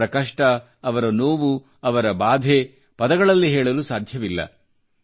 ಅವರ ಕಷ್ಟ ಅವರ ನೋವು ಅವರ ಬಾಧೆ ಪದಗಳಲ್ಲಿ ಹೇಳಲು ಸಾಧ್ಯವಿಲ್ಲ